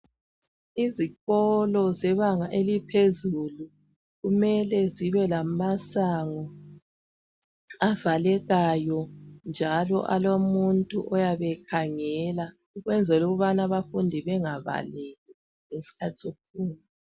Izikolo zebanga eliphezulu kumele zibe lamasango avalekayo njalo alomuntu oyabe ekhangela ukwenzela ukubana abafundi bengabaleki ngesikhathi sokufunda.